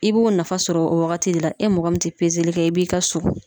I b'o nafa sɔrɔ o wagati de la. E mɔgɔ min te kɛ i b'i ka so.